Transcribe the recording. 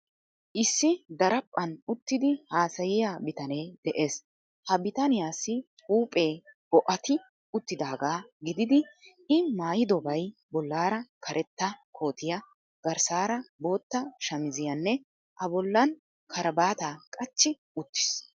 Issi daraphphan uttidi haasayiya bitanee de'ees. Ha bitaniyassi huuphee bo'ati uttidaaga gididi I maayidobay bollaara karetta kootiya, garssaara bootta shamiziyaanne A bollan kirabaata qachchi uttiis.